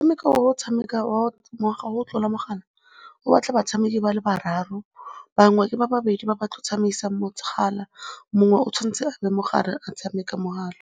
O tshameka o ngwaga o tlola mogala, o batla batshameki ba le bararo, bangwe ke ba babedi ba ba tlo tsamaisang mogala, mongwe o tshwanetse a be mo gare a tshameka mogala.